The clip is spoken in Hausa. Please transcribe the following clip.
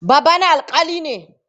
Babana alƙali ne.